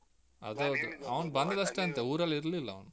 ಅದೌದು ಅವ್ನು ಬಂದಿದ್ದಷ್ಟೆ ಅಂತೆ ಊರಲ್ಲಿರ್ಲಿಲ್ಲ ಅವ್ನು.